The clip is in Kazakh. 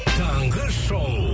таңғы шоу